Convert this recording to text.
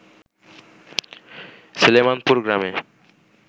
সলেমানপুর গ্রামে